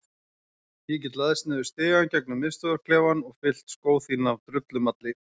Ég get læðst niður stigann gegnum miðstöðvarklefann og fyllt skó þína af drullumalli.